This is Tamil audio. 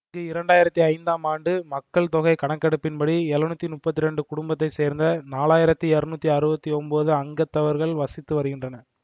இங்கு இரண்டு ஆயிரத்தி ஐந்தாம் ஆண்டு மக்கள் தொகை கணக்கெடுப்பின்படி எழுநூற்றி முப்பத்தி இரண்டு குடும்பத்தை சேர்ந்த நான்கு ஆயிரத்தி இருநூற்றி அறுபத்தி ஒன்பது அங்கத்தவர்கள் வசித்து வருகின்றனர்